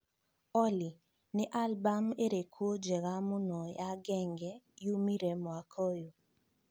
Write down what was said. Olly nĩ albumu ĩrĩkũ njega mũno ya genge yumire mwaka ũyũ